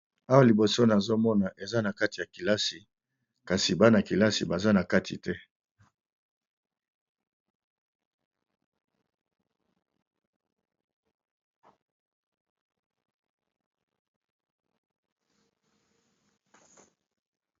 Awa liboso nazo mona eza na kati ya kelasi, kasi bana kelasi baza na kati te.